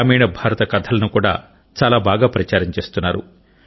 గ్రామీణ భారత కథలను కూడా చాలా బాగా ప్రచారం చేస్తున్నారు